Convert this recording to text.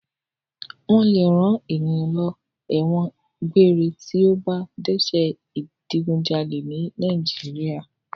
Wọ́n lè rán ènìyàn lọ ẹ̀wọ̀n gbére tí ó bá dẹ́ṣẹ̀ ìdigunjalè ní Nàìjíríà.